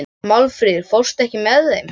Málfríður, ekki fórstu með þeim?